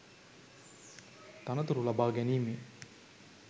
තනතුරු ලබාගැනීමේ